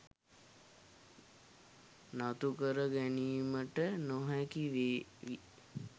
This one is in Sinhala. නතුකරගනීමට නොහැකි වේවි.